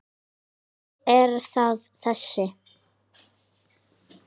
Ekki er það þessi.